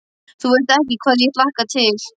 Þú veist ekki hvað ég hlakka til.